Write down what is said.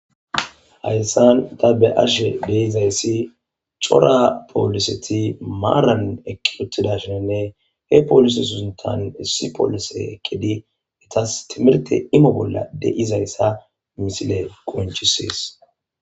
Hayisan ta be ashe dizayisi co,ra poliseti maran eqiwutidayssinne he polise sinthan issi polise eqidi ethas timirte imo bolla de,izayisa misile qonc, ises